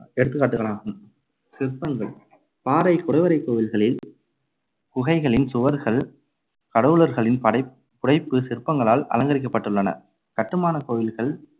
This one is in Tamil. எடுத்துக்காட்டுகளாகும். சிற்பங்கள் பாறை குடைவரைக் கோவில்களில் குகைகளின் சுவர்கள் கடவுளர்களின் படைப்~ புடைப்புச் சிற்பங்களால் அலங்கரிக்கப்பட்டுள்ளன. கட்டுமானக் கோவில்கள்